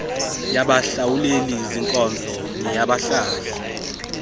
yabahlawuleli zinkonzo neyabahlali